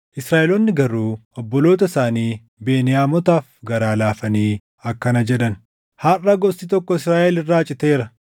Israaʼeloonni garuu obboloota isaanii Beniyaamotaaf garaa laafanii akkana jedhan; “Harʼa gosti tokko Israaʼel irraa citeera.